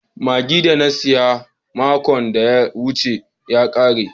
Magi da na siya makon da ya wuce ya kare.